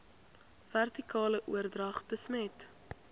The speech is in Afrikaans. vertikale oordrag besmet